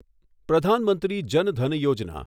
Pradhan Mantri Jan Dhan Yojana